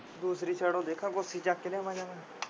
ਦੂਸਰੀ ਛੜੋ ਦੇਖਾਂ ਕੋਠੀ ਚੱਕ ਕੇ ਲਿਆਵਾਂ ਜਾਵਾਂ।